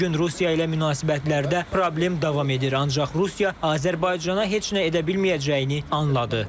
Bu gün Rusiya ilə münasibətlərdə problem davam edir, ancaq Rusiya Azərbaycana heç nə edə bilməyəcəyini anladı.